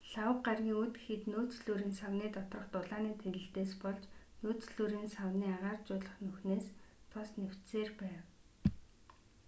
лхагва гарагийн үд гэхэд нөөцлүүрийн савны доторх дулааны тэлэлтээс болж нөөцлүүрийн савны агааржуулах нүхнээс тос нэвчсээр байв